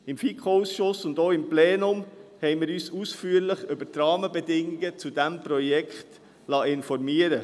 Seitens des FiKo-Ausschusses und auch des Plenums liessen wir uns ausführlich über die Rahmenbedingungen dieses Projektes informieren.